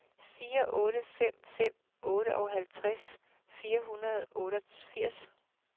fire otte fem fem otteoghalvtreds fire hundrede og otteogfirs